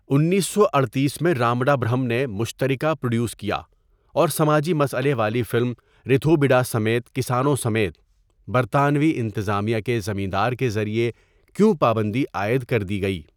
اُنیسو اڑتیس میں رامڈا برھم نے مشترکہ پروڈیوس کیا اور سماجی مسئلے والی فلم ریتھو بِڈا سمیت کسانوں سمیت ، برطانوی انتظامیہ کے زمیندار کے ذریعہ کیوں پابندی عائد کردی گئی.